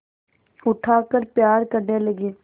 उठाकर प्यार करने लगी